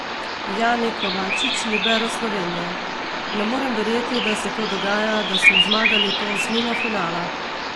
Jani Kovačič, libero Slovenije: "Ne moremo verjeti, da se to dogaja, da smo zmagali to osmino finala.